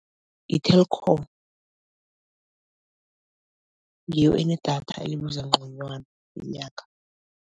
I-Telkom ngiyo enedatha elibiza nconywana ngenyanga.